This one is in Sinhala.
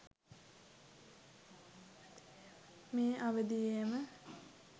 මේ අවදියේම